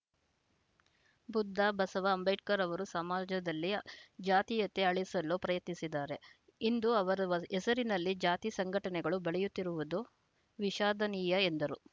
ಬುದ್ಧ ಬಸವ ಅಂಬೇಡ್ಕರ್‌ ಅವರು ಸಮಾಜದಲ್ಲಿ ಜಾತಿಯತೆ ಅಳಿಸಲು ಪ್ರಯತ್ನಿಸಿದರೆ ಇಂದು ಅವರ ಹೆಸರಿನಲ್ಲಿ ಜಾತಿ ಸಂಘಟನೆಗಳು ಬೆಳೆಯುತ್ತಿರುವುದು ವಿಷಾದನೀಯ ಎಂದರು